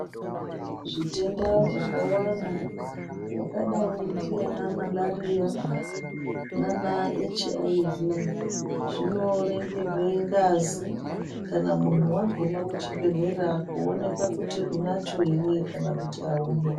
Zvitenda zvakawanda zvakadayi ndiana malariya, nanaHIV, zvinoringirwe ngazi kana muntu waguma muchibhedhlera kuwonekwa kuti unacho ere kana kuti awuna.